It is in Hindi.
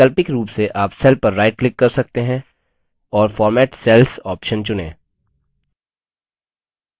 वैकल्पिक रूप से आप cell पर right click कर सकते हैं और format cells option चुनें